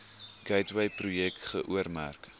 gateway projek geoormerk